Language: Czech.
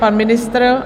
Pan ministr?